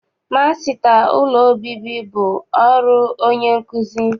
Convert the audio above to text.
Masịta ụlọ obibi bụ ọrụ onye nkuzi.